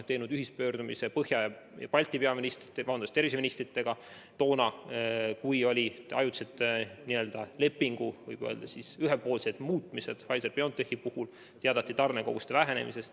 Tegime Põhja- ja Baltimaade tervishoiuministritega ühispöördumise toona, kui toimus ajutiselt lepingu ühepoolne muutmine Pfizer-BioNTechi puhul ja teatati tarnekoguste vähenemisest.